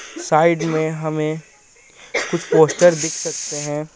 Side में हमें कुछ पोस्टर दिख सकते हैं.